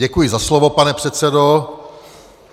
Děkuji za slovo, pane předsedo.